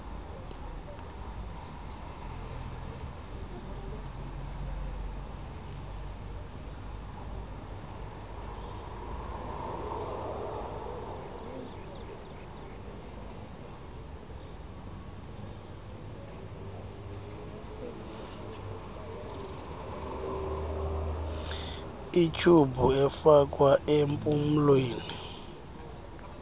ityhubhu ifakwa nempumlweni